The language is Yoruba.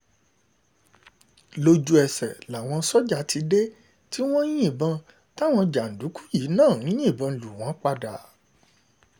lójútèsè náà náà làwọn sójà ti dé tí wọ́n ń yìnbọn táwọn jàǹdùkú yìí náà ń yìnbọn lù wọ́n padà